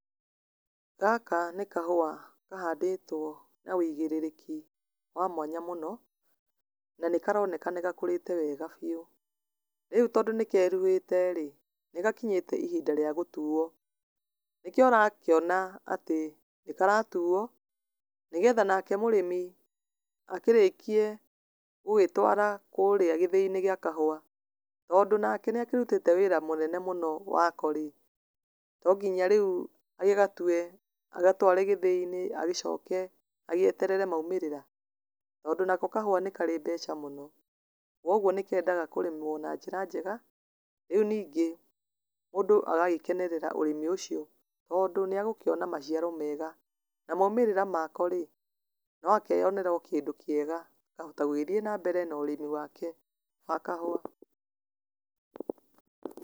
Gaka nĩ kahũa kahandĩtwo na wĩigĩrĩrĩki wa mwanya mũno, na nĩ karoneka nĩ gakũrĩte wega biũ. Rĩu tondu nĩ keruhĩte rĩ, nĩ gakinyĩte ihinda rĩa gũtuo. Nĩkĩo ũrakĩona atĩ, nĩ karatuo, nĩgetha nake mũrĩmi akĩrekie gũgĩtwara kũrĩa gĩthĩi-inĩ gĩa kahũa. Tondu nake nĩ akĩrutĩte wĩra mũnene mũno wako rĩ, to nginya rĩu agĩgatue, agatware gĩthĩi-inĩ agĩcoke agĩeterere maumĩrĩra? Tondu nako kahũa nĩ karĩ mbeca mũno. Kogwo nĩ kendaga kũrĩmwo na njĩra njega, rĩu ningĩ, mũndũ agagĩkenerera ũrĩmi ũcio tondũ nĩ agũkĩona maciaro mega. Na maumĩrĩra mako rĩ, no akeyonera o kĩndũ kĩega, akahota gũgĩthiĩ na mbere na ũrĩmi wake wa kahũa.